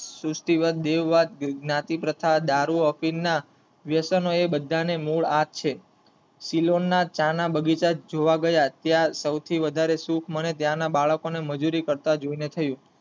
સૃષ્દાટિવાદ, દેવવાદ, જ્ઞાતિપ્રથા, દારૂ અફીણના વ્યાસનો એ બધા ને મૂળ આ જ છે શીલોણના ચા ના બગીચા જોવા ગયા ત્યાં સૌથી વધારે સુખ મને ત્યાં ના બાળકો ને મંજૂરી કરતા જોય ને થયું.